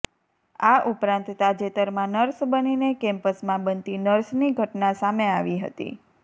આ ઉપરાંત તાજેતરમાં નર્સ બનીને કેમ્પસમાં બનતી નર્સની ઘટના સામે આવી હતી